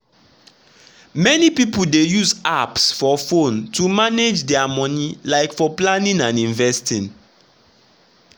many people dey use apps for phone to manage dia money like for planning and investing.